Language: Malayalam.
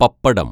പപ്പടം